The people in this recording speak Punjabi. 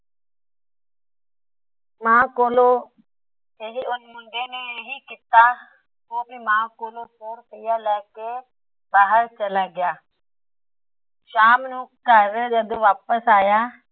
ਨੇ ਇਹੀ ਕੀਤਾ। ਉਹ ਆਪਣੀ ਮਾਂ ਕੋਲੋਂ ਸੋ ਰੁਪਇਆ ਲੈਕੇ ਬਾਹਰ ਚੱਲਾ ਗਿਆ। ਸ਼ਾਮ ਨੂੰ ਘਰ ਜਦੋ ਵਾਪਸ ਆਇਆ।